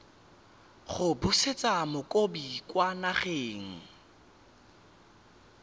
go busetsa mokopi kwa nageng